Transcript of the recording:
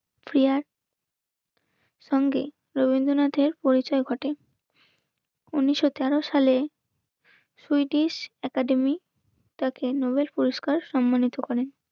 চাল ফ্রেয়ার সঙ্গে রবীন্দ্রনাথের পরিচয় ঘটে. উনিশশো তেরো সালে সুইটিস অ্যাকাডেমি তাকে নোবেল পুরস্কার সম্মানিত করেন.